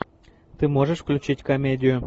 ты можешь включить комедию